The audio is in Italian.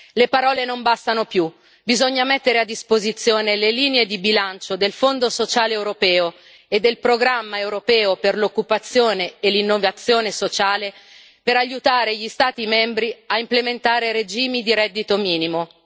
Le parole non bastano più, bisogna mettere a disposizione le linee di bilancio del Fondo sociale europeo e del Programma europeo per l'occupazione e l'innovazione sociale per aiutare gli Stati membri a implementare regimi di reddito minimo.